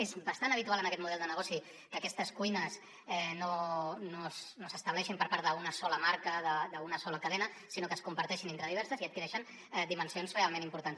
és bastant habitual en aquest model de negoci que aquestes cuines no s’estableixin per part d’una sola marca d’una sola cadena sinó que es comparteixin entre diverses i adquireixen dimensions realment importants